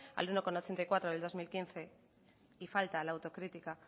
al uno coma ochenta y cuatro por ciento del dos mil quince y falta la autocrítica